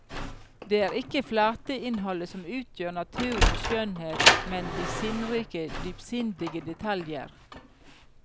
Det er ikke flateinnholdet som utgjør naturens skjønnhet, men de sinnrike, dypsindige detaljer.